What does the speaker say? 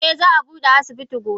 Eh za abude asibitin gobe.